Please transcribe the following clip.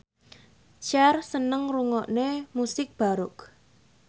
Cher seneng ngrungokne musik baroque